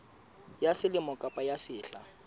ya selemo kapa ya sehla